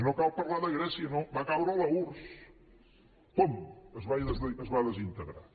no cal parlar de grècia no va caure l’urss pum es va desintegrar